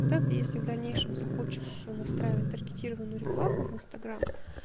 когда ты если в дальнейшем захочешь настраивать таргетированную рекламу в инстаграм